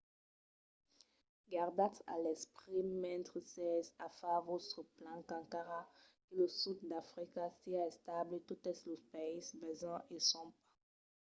gardatz a l'esperit mentre sètz a far vòstres plans qu'encara que lo sud d'africa siá estable totes los païses vesins o son pas